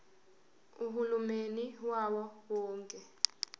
uhulumeni wawo wonke